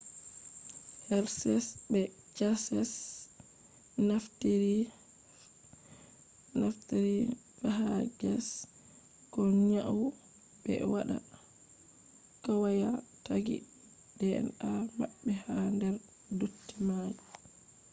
hershes be chase naftiri phages ko nyau ɓe waɗa kwaya tagi dna mabbe ha der dotti mai